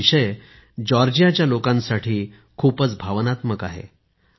हा विषय जॉर्जियाच्या लोकांसाठी खूपच भावनात्मक आहे